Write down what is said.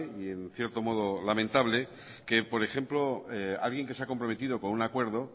y en cierto modo lamentable que por ejemplo alguien que se ha comprometido con un acuerdo